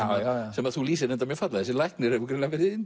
sem þú lýsir mjög fallega þessi læknir hefur greinilega verið hinn